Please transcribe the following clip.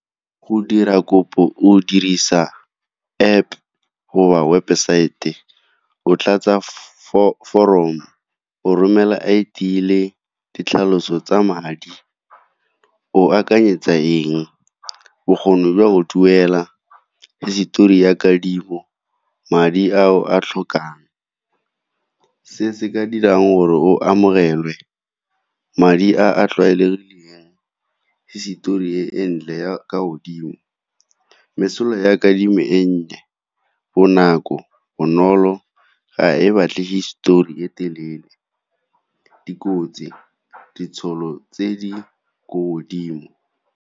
Go dira kopo, o dirisa App goba website. O tlatsa form-o, o romela I_D le ditlhaloso tsa madi. O akanyetsa eng? Bokgoni jwa o duela, hisetori ya kadimo, madi ao a tlhokang. Se se ka dirang gore o amogelwe, madi a a tlwaelegileng, hisetori e ntle ya ka godimo. Mesola ya kadimo e nnye, bonako, bonolo ga e batle histori e telele. Dikotsi, ditšhono tse di ko godimo.